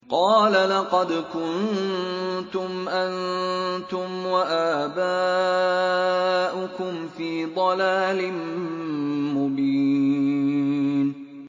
قَالَ لَقَدْ كُنتُمْ أَنتُمْ وَآبَاؤُكُمْ فِي ضَلَالٍ مُّبِينٍ